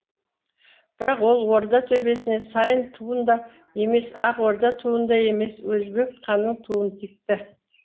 бірақ ол орда төбесіне сайын туын да емес ақ орда туын да емес өзбек ханның туын тікті